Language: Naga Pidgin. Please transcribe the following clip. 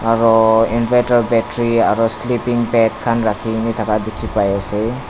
Aro inverter battery aro sleeping bed khan rakhina thaka dekhe pai ase.